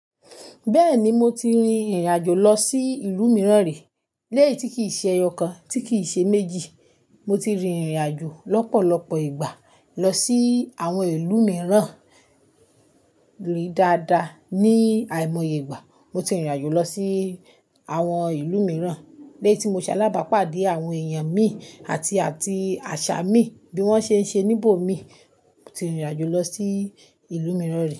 Bẹ́ẹ̀ni, mo ti rin ìrìn àjò lọ sí ìlú mìíràn rí. Léyí ti kìí ṣe ẹyọkan, tí kìí ṣe méjì. Mo ti rin ìrìn àjò lọ́pọ̀lọpọ̀ ìgbà lọ sí àwọn ìlú mìíràn. Rin dáadáa, ni àìmọye ìgbà, mo ti rìn ìrìn àjò lọ sí àwọn ìlú mìíràn. Léétí mo ṣalábàápàdé àwọn èèyàn mi àti àti àṣà mi bí wọ́n ṣe ń ṣe níbò mi. Mo ti rìn ìrìn àjò lọ sí ìlú mìíràn rí.